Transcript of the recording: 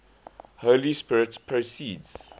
holy spirit proceeds